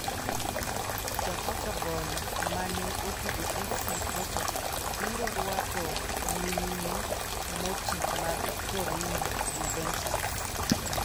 Ja Portugal mane otugo FC Porto biro rwako nyimine moti mag Torino, Juventus.